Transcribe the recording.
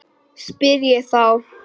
spyr ég þá.